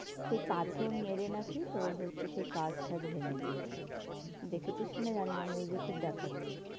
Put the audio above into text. সেই পাথর মেরে নাকি তোর হচ্ছে সেই কাচ ঠাচ ভেঙ্গে দিয়েছে, দেখেছিস কি না জানি না news এ খুব দেখাচ্ছে.